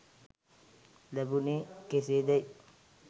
ලැබුණේ කෙසේදැයි